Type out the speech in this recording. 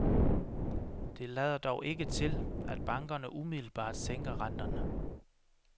Det lader dog ikke til, at bankerne umiddelbart sænker renterne.